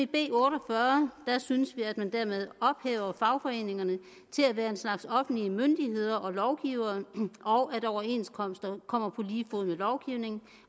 b otte og fyrre synes vi at man dermed ophæver fagforeningerne til at være en slags offentlige myndigheder og lovgivere og at overenskomster kommer på lige fod med lovgivning